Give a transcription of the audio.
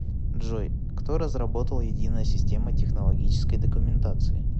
джой кто разработал единая система технологической документации